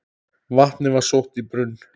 Vatnið var sótt í brunn.